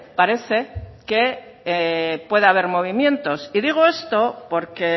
parece que puede haber movimientos y digo esto porque